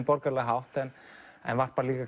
borgaralega hátt en en varpar líka